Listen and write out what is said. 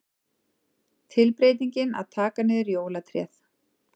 Tilbreytingin að taka niður jólatréð.